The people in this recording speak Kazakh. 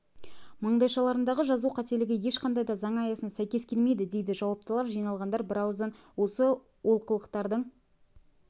маңдайшаларындағы жазу қателігі ешқандай да заң аясына сәйкес келмейді дейді жауаптылар жиналғандар бірауыздан осы олқылықтардың